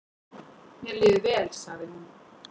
"""Mér líður vel, sagði hún."""